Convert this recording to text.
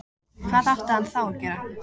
Hvað átti hann þá að gera?